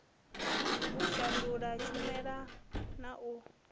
u shandula tshumela na u